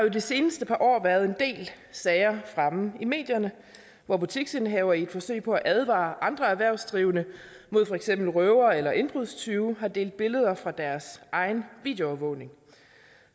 i de seneste par år været en del sager fremme i medierne hvor butiksindehavere i et forsøg på at advare andre erhvervsdrivende mod for eksempel røvere eller indbrudstyve har delt billeder fra deres egen videoovervågning